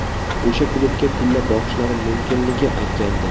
O‘sha klubga pilla boqishlari mumkinligi aytgandim.